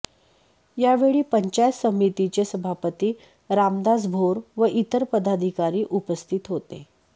यावेळी पंचायत समितीचे सभापती रामदास भोर व इतर पदाधिकारी उपस्थित होते